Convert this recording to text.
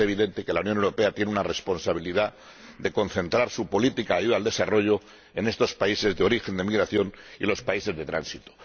Es evidente que la Unión Europea tiene la responsabilidad de concentrar su política de ayuda al desarrollo en estos países de origen de la migración y en los países de tránsito.